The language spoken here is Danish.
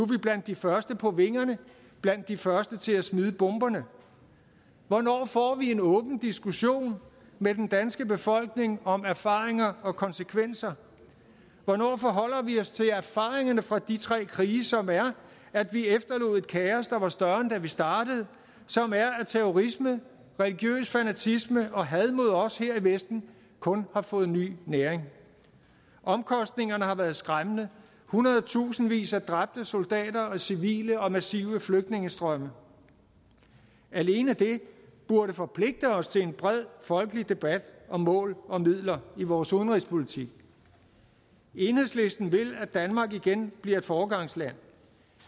vi blandt de første på vingerne blandt de første til at smide bomberne hvornår får vi en åben diskussion med den danske befolkning om erfaringer og konsekvenser hvornår forholder vi os til erfaringerne fra de tre krige som er at vi efterlod et kaos der var større end da vi startede som er at terrorisme religiøs fanatisme og had mod os her i vesten kun har fået ny næring omkostningerne har været skræmmende hundredtusindvis af dræbte soldater og civile og massive flygtningestrømme alene det burde forpligte os til en bred folkelig debat om mål og midler i vores udenrigspolitik enhedslisten vil at danmark igen bliver et foregangsland